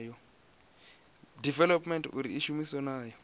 development uri i shumiwe nayo